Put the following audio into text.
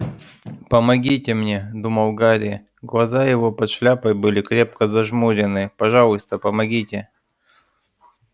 помогите мне думал гарри глаза его под шляпой были крепко зажмурены пожалуйста помогите